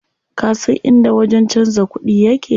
Kasan inda wajen canza kuɗi yake?